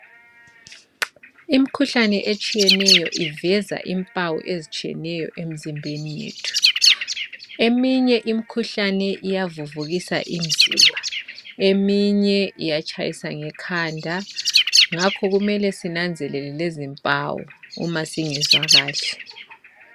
Imkhuhlane etshiyeneyo iveza impawu ezitshiyeneyo emzimbeni yethu .Eminye imikhuhlane iyavuvukisa imzimba ,eminye iyatshayisa ngekhanda ngakho kumele sinanzelele lezi mpawu uma singezwa kahle.